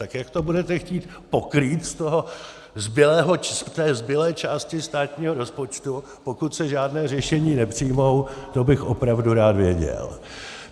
Tak jak to budete chtít pokrýt z té zbylé části státního rozpočtu, pokud se žádná řešení nepřijmou, to bych opravdu rád věděl.